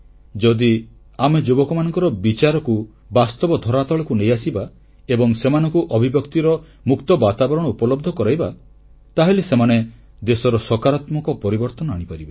ଯଦି ଆମେ ଯୁବକମାନଙ୍କର ବିଚାରକୁ ବାସ୍ତବ ଧରାତଳକୁ ନେଇ ଆସିବା ଏବଂ ସେମାନଙ୍କୁ ଅଭିବ୍ୟକ୍ତିର ମୁକ୍ତ ବାତାବରଣ ଉପଲବ୍ଧ କରାଇବା ତାହେଲେ ସେମାନେ ଦେଶରେ ସକାରାତ୍ମକ ପରିବର୍ତ୍ତନ ଆଣିପାରିବେ